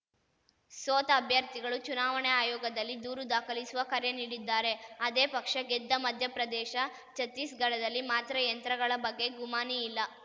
ಸೋತ ಅಭ್ಯರ್ಥಿಗಳು ಚುನಾವಣಾ ಆಯೋಗದಲ್ಲಿ ದೂರು ದಾಖಲಿಸುವ ಕರೆ ನೀಡಿದ್ದಾರೆ ಅದೇ ಪಕ್ಷ ಗೆದ್ದ ಮಧ್ಯಪ್ರದೇಶ ಛತ್ತೀಸಗಢದಲ್ಲಿ ಮಾತ್ರ ಯಂತ್ರಗಳ ಬಗ್ಗೆ ಗುಮಾನಿ ಇಲ್ಲ